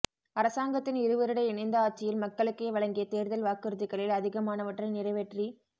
அரசாங்கத்தின் இருவருட இணைந்த ஆட்சியில் மக்களுக்கு வழங்கிய தேர்தல் வாக்குறுதிகளில் அதிகமானவற்றை நிறைவேற்றி